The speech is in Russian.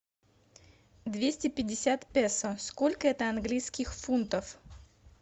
двести пятьдесят песо сколько это английских фунтов